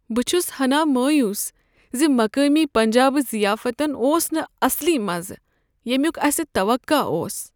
بہٕ چھُس ہنا مایوس ز مقٲمی پنجٲبی ضیافتن اوس نہٕ اصلی مزٕ ، ییمِیُک اسہِ توقع اوس ۔